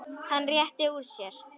Hann rétti úr sér.